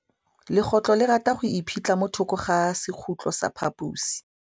Legôtlô le rata go iphitlha mo thokô ga sekhutlo sa phaposi.